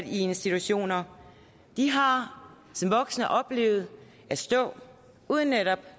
institutioner de har som voksne oplevet at stå uden netop